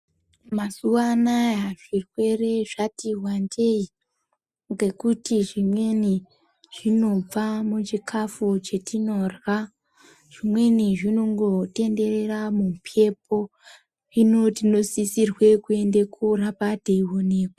Mazuwa anaya zvirwere zvati wandei ngekuti zvimweni zvinobva muzvikafu zvatinorya zvimweni zvinongotenderera mumbepo hino tinosisirwe kuende kuramba tei onekwa.